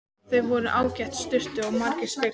Þar voru ágætar sturtur og margir speglar!